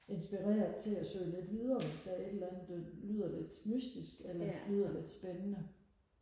inspireret til og søge lidt videre hvis der er et eller andet der lyder lidt mystisk eller lyder lidt spændende